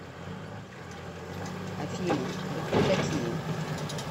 афина вы кто такие